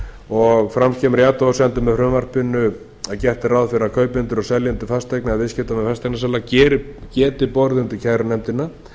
og fram kemur í athugasemdum með frumvarpinu að gert er ráð fyrir því að kaupendur og seljendur fasteigna eða viðskiptamenn fasteignasala geti borið undir kærunefndina